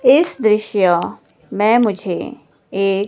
इस दृश्य मैं मुझे एक--